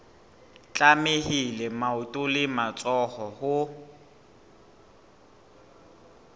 tlamehile maoto le matsoho ho